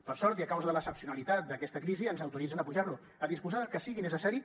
per sort i a causa de l’excepcionalitat d’aquesta crisi ens autoritzen a apujar lo a disposar del que sigui necessari